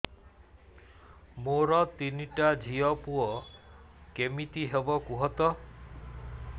ମୋର ତିନିଟା ଝିଅ ପୁଅ କେମିତି ହବ କୁହତ